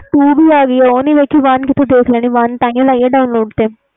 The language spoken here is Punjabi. two ਵੀ ਆ ਗਈ ਆ ਉਹ ਨਹੀਂ ਦੇਖੀ one ਕਿਥੋਂ ਦੇਖ ਲੈਣੀ ਵ ਤਾਹੀ ਲਈ ਵ download